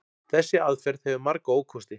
Þessi aðferð hefur marga ókosti.